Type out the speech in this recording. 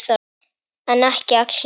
En ekki allar.